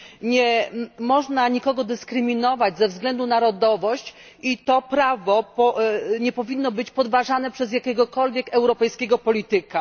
Nie można nikogo dyskryminować ze względu na narodowość i to prawo nie powinno być podważane przez jakiegokolwiek europejskiego polityka.